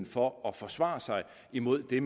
for at forsvare sig imod det